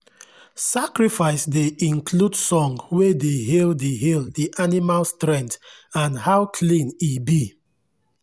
sacrifice dey include song wey dey hail the hail the animal strength and how clean e be.